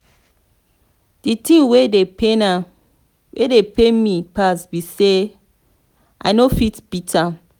the thing wey dey pain me pass be say i no fit beat am